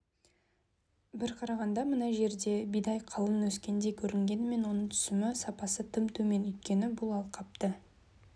бір қарағанда мына жерда бидай қалың өскендей көрінгенімен оның түсімі сапасы тым төмен өйткені бұл алқапты